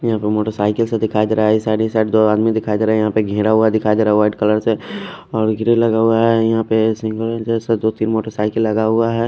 यहां पे मोटरसाइकिल सा दिखाई दे रहा है। साईड ही साईड दो आदमी दिखाई दे रहा है। यहां पे घेरा हुआ दिखाई दे रहा व्हाइट कलर से। और ग्रिल लगा हुआ है यहां पे सिंगल जैसा दो तीन मोटरसाइकिल लगा हुआ है।